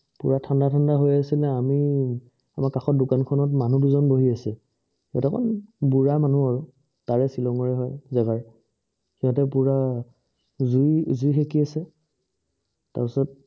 পুৰা ঠাণ্ডা ঠাণ্ডা হয় আছিলে আমি আমাৰ কাষৰ দোকানখনত মানুহ দুজন বহি আছে কেটা মান বুঢ়া মানু্হ আৰু তাৰেই শ্বিলঙৰে হয় জেগা ৰ সিহঁতে পুৰা জুই শেকি আছে তাৰ পিছত